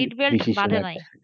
seatbelt বাঁধে নাই,